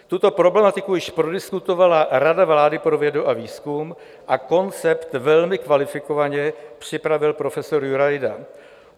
Tuto problematiku již prodiskutovala Rada vlády pro vědu a výzkum a koncept velmi kvalifikovaně připravil profesor Jurajda.